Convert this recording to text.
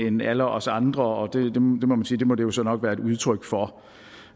end alle os andre og det må det jo så nok være et udtryk for